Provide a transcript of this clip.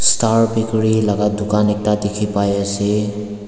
star bakery laka dukan ekta dikhipaiase.